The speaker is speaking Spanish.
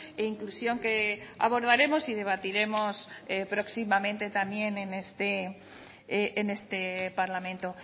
e inclusión que abordaremos y debatiremos próximamente también en este parlamento